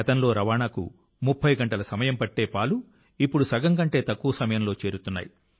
గతంలో రవాణాకు 30 గంటల సమయం పట్టే పాలు ఇప్పుడు సగం కంటే తక్కువ సమయంలో చేరుతున్నాయి